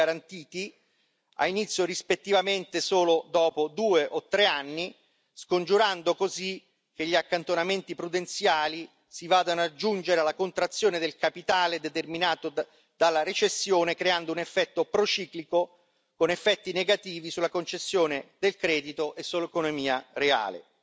o non garantiti ha inizio rispettivamente solo dopo due o tre anni, scongiurando così il rischio che gli accantonamenti prudenziali si vadano ad aggiungere alla contrazione del capitale determinata dalla recessione, creando un effetto prociclico, con effetti negativi sulla concessione del credito e sull'economia reale.